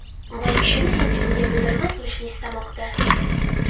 Bu ishini hech kimga bildirmay qilishni istamoqda”.